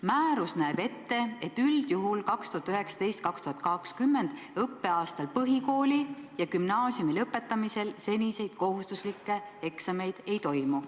Määrus näeb ette, et üldjuhul 2019/20. õppeaastal põhikooli ja gümnaasiumi lõpetamisel seniseid kohustuslikke eksameid ei toimu.